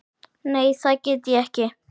Nei, það get ég ekki.